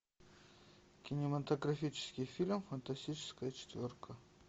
кинематографический фильм фантастическая четверка